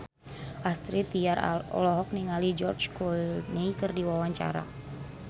Astrid Tiar olohok ningali George Clooney keur diwawancara